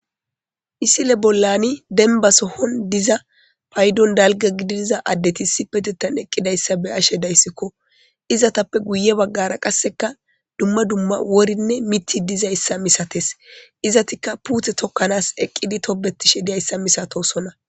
Misile bollan dembba sohon diza paydon dalgga gididiza addeti sipetetan eqqidayssa be ashe dayssikko. Izatappe guye baggara qasseka dumma dumma worinne miti dizayssa misates. Izatikka puuthe tokkanas eqqidi tobetishe diyayssa misatosona.